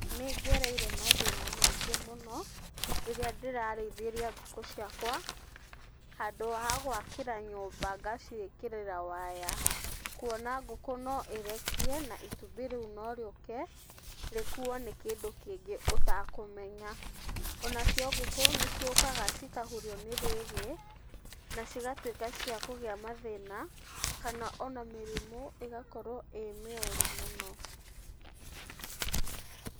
Nĩ ngereire mathĩna maingĩ mũno rĩrĩa ndĩrarĩithĩria ngũkũ ciakwa handũ ha gwakĩra nyũmba ngaciĩkĩrĩra waya. Kuona ngũkũ no ĩrekie na itumbĩ rĩu no rĩũke rĩkuo nĩ kĩndũ kĩngĩ ũtakũmenya. Onacio ngũkũ nĩ ciũkaga cikahurio nĩ rwĩgĩ na cigatuĩka cia kũgĩa mathĩna, kana ona mĩrimu ĩgakorwo ĩĩ mĩũru mũno.